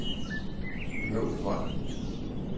Smølvold